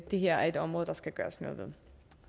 det her er et område der skal gøres noget ved